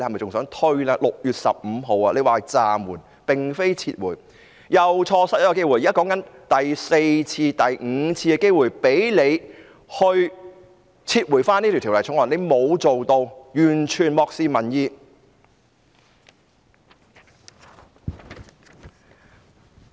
特首在6月15日宣布暫緩，並非撤回，又錯失一個機會，現在說的已經是第四次、第五次機會，讓特首撤回《條例草案》，但她沒有這樣做，完全漠視民意。